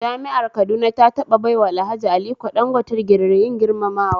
Jami'ar Kaduna ta taɓa baiwa Alhaji Aliko Dangote digirin girmamawa